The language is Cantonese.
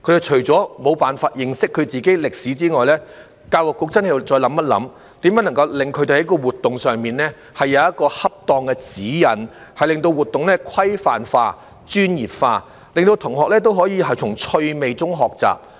除了他們無法認識自己的歷史外，教育局亦必須再思考如何就他們的活動提供恰當的指引，令活動規範化、專業化，令學生可以從趣味中學習。